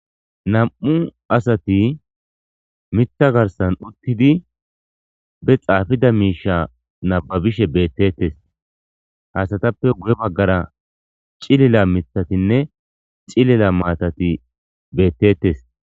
Nam7u asati mitha garsan uttidi be xaafida miisha nababishe beettettes hasatappe guye maggara cilila mithatinne cilila maatati beettettes.